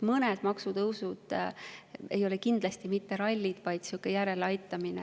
Mõned maksutõusud ei ole kindlasti mitte ralli, vaid inflatsioonile järeleaitamine.